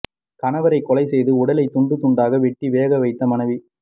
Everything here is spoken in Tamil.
கணவரை கொலை செய்து உடலை துண்டு துண்டாக வெட்டி வேக வைத்த மனைவி